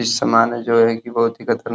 इस सामान है जो है कि बहोत ही --